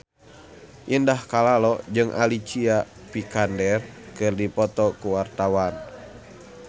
Indah Kalalo jeung Alicia Vikander keur dipoto ku wartawan